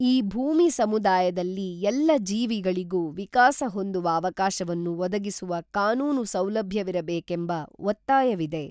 ಈ ಭೂಮಿ ಸಮುದಾಯದಲ್ಲಿ ಎಲ್ಲ ಜೀವಿಗಳಿಗೂ ವಿಕಾಸ ಹೊಂದುವ ಅವಕಾಶವನ್ನು ಒದಗಿಸುವ ಕಾನೂನು ಸೌಲಭ್ಯವಿರಬೇಕೆಂಬ ಒತ್ತಾಯವಿದೆ.